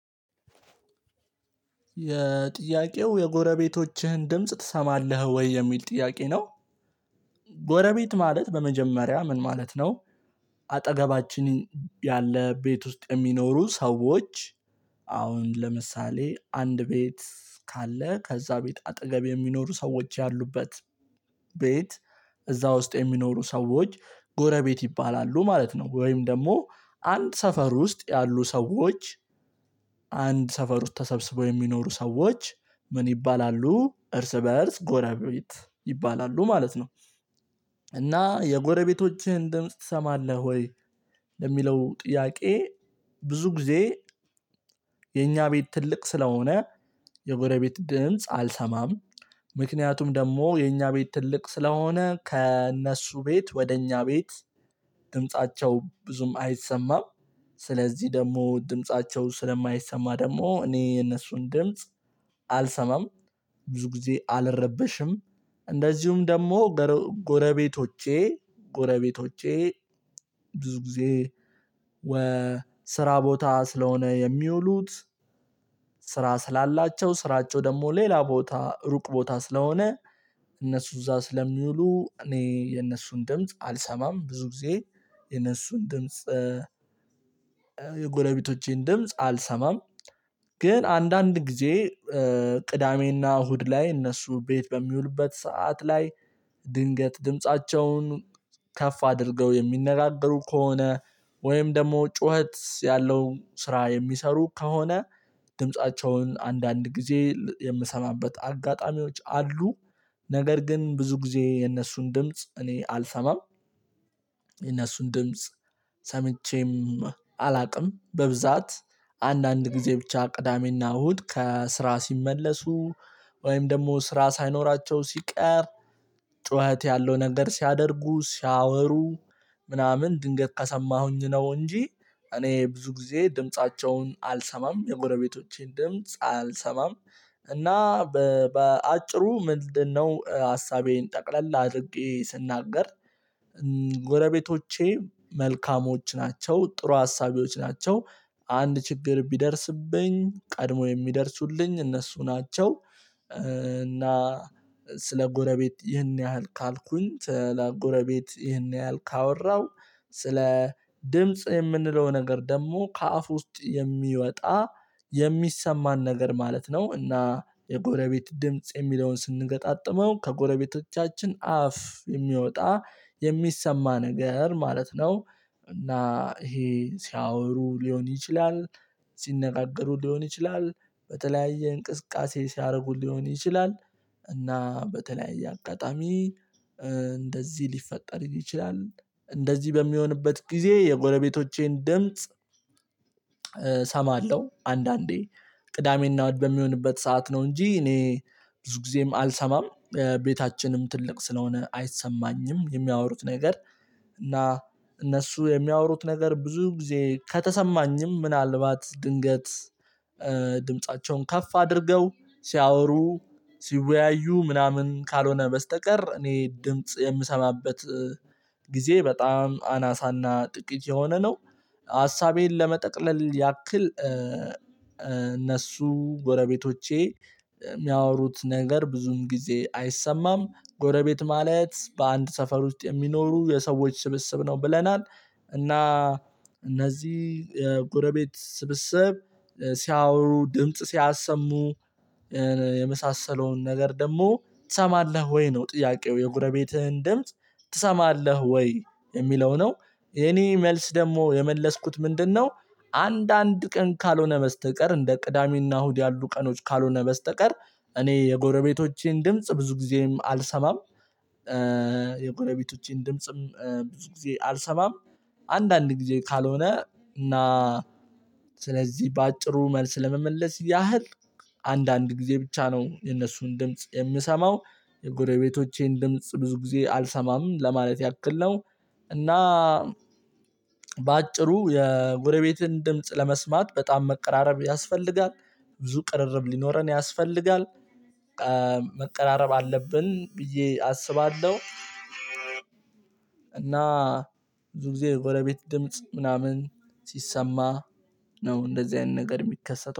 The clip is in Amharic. የጥያቄው የጎረቤቶችህን ድምጽ ትሰማለህ ወይ የሚል ጥያቄ ነው፤ ጎረቤት ማለት በመጀመሪያ ምን ማለት ነው አጠገባችን ያለ ቤት ውስጥ የሚኖሩ ሰዎች አሁን ለምሳሌ አንድ ቤት ካለ ከዛ ቤት አጠገብ የሚኖሩ ሰዎች ያሉበት ቤት እዛ ውስጥ የሚኖሩ ሰዎች ጎረቤት ይባላሉ ማለት ነው ወይም ደግሞ አንድ ሰፈር ውስጥ ያሉ ሰዎች አንድ ሰፈር ውስጥ ተሰብስበው የሚኖሩ ሰዎች ምን ይባላሉ እርስ በእርስ ጎረቤት ይባላሉ ማለት ነው እና የጎረቤቶችህን ድምጽ ትሰማለህ ወይ ለሚለው ጥያቄ ብዙ ጊዜ የኛ ቤት ትልቅ ስለሆነ የጎረቤት ድምጽ አልሰማም፤ ምክንያቱም ደግሞ የኛ ቤት ትልቅ ስለሆነ ከእነሱ ቤት ወደ እኛ ቤት ድምፃቸው ብዙም አይሰማም፤ ስለዚህ ደግሞ ድምፃቸው ስለማይሰማ ደግሞ እኔ የነሱን ድምጽ አልሰማም፤ ብዙ ጊዜ አልረበሽም እንደዚሁም ደግሞ ጎረቤቶቼ ጎረቤቶቼ ብዙ ጊዜ ወ ስራ ቦታ ስለሆነ የሚውሉት ስራ ስላላቸው ስራቸው ደግሞ ሌላ ቦታ ሩቅ ቦታ ስለሆነ እነሱ እዛ ስለሚውሉ እኔ የነሱን ድምጽ አልሰማም፤ ብዙ ጊዜ የነሱን ድምጽ የጎረቤቶቼን ድምጽ አልሰማም ግን አንዳንድ ጊዜ ቅዳሜና እሁድ ላይ እነሱ ቤት በሚውሉበት ሰዓት ላይ ድንገት ድምፃቸውን ከፍ አድርገው የሚነጋገሩ ከሆነ ወይም ደግሞ ጩኸት ያለው ስራ የሚሰሩ ከሆነ ድምፃቸውን አንዳንድ ጊዜ የምሰማበት አጋጣሚዎች አሉ፤ ነገር ግን ብዙ ጊዜ የነሱን ድምጽ እኔ አልሰማም የነሱን ድምጽ ሰምቼም አላውቅም፤ በብዛት አንዳንድ ጊዜ ብቻ ቅዳሜና እሁድ ከስራ ሲመለሱ ወይም ደግሞ ስራ ሳይኖራቸው ሲቀር ጩኸት ያለው ነገር ሲያደርጉ ሲያወሩ ምናምን ድንገት ከሰማሁኝ ነው እንጂ እኔ ብዙ ጊዜ ድምፃቸውን አልሰማም የጎረቤቶቼን ድምጽ አልሰማም። እና በአጭሩ ምንድነው ሀሳቤን ጠቅለል አድርጌ ስናገር ጎረቤቶቼ መልካሞች ናቸ፤ ጥሩ አሳቢዎች ናቸው አንድ ችግር ቢደርስብኝ ቀድሞ የሚደርሱልኝ እነሱ ናቸው እና ስለ ጎረቤት ይህን ያህል ካልኩኝ ስለ ጎረቤት ይህን ያህል ካወራሁ ስለ ድምጽ የምንለው ነገር ደግሞ ከአፍ ውስጥ የሚወጣ የሚሰማን ነገር ማለት ነው እና የጎረቤት ድምጽ የሚለውን ስንገጣጥመው ከጎረቤቶቻችን አፍ የሚወጣ የሚሰማ ነገር ማለት ነው እና ይሄ ሲያወሩ ሊሆን ይችላል፤ ሲነጋገሩ ሊሆን ይችላል፤ በተለያየ እንቅስቃሴ ሲያደርጉ ሊሆን ይችላል እና በተለያየ አጋጣሚ እንደዚህ ሊፈጠር ይችላል እንደዚህ በሚሆንበት ጊዜ የጎለቤቶቼን ድምጽ እሰማለሁ፤ አንዳንዴ ቅዳሜ እና እሁድ በሚሆንበት ሰዓት ነው እንጂ እኔ ብዙ ጊዜም አልሰማም፤ ቤታችንም ትልቅ ስለሆነ አይሰማኝም የሚያወሩት ነገር እና እነሱ የሚያወሩት ነገር ብዙ ጊዜ ከተሰማኝም ምናልባት ድንገት ድምፃቸውን ከፍ አድርገው ሲያወሩ ሲወያዩ ምናምን ካልሆነ በስተቀር እኔ ድምጽ የምሰማበት ጊዜ በጣም አናሳና ጥቂት የሆነ ነው፤ ሀሳቤን ለመጠቅለል ያክል እነሱ ጎረቤቶቼ የሚያወሩት ነገር ብዙም ጊዜ አይሰማም ጎረቤት ማለት በአንድ ሰፈር ውስጥ የሚኖሩ የሰዎች ስብስብ ነው ብለናል እና እነዚህ ጎረቤት ስብስብ ሲያወሩ ድምጽ ሲያሰሙ የመሳሰለውን ነገር ደግሞ ትሰማለህ ወይ ነው ጥያቄው የጎረቤትህን ድምጽ ትሰማለህ ወይ የሚለው ነው የእኔ መልስ ደግሞ የመለስኩት ምንድነው አንዳንድ ቀን ካልሆነ በስተቀር እንደ ቅዳሜና እሁድ ያሉ ቀኖች ካልሆነ በስተቀር እኔ የጎረቤቶቼን ድምጽ ብዙ ጊዜም አልሰማም የጎረቤቶቼን ድምጽም ብዙ ጊዜ አልሰማም አንዳንድ ጊዜ ካልሆነ እና ስለዚህ በአጭሩ መልስ ለመመለስ ያህል አንዳንድ ጊዜ ብቻ ነው የነሱን ድምጽ የምሰማው የጎረቤቶቼን ድምጽ ብዙ ጊዜ አልሰማም ለማለት ያክል ነው እና በአጭሩ የጎረቤትን ለመስማት በጣም መቀራረብ ያስፈልጋል ብዙ ቅርርብ ሊኖረን ያስፈልጋል፤ መቀራረብ አለብን ብዬ አስባለሁ፤ እና ብዙ ጊዜ የጎረቤት ድምጽ ምናምን ሲሰማ ነው እንደዚህ አይነት ነገር የሚከሰተው